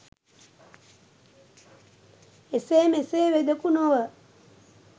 එසේ මෙසේ වෙදෙකු නොව